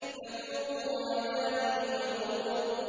فَذُوقُوا عَذَابِي وَنُذُرِ